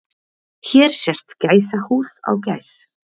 Hér sést gæsahúð á gæs.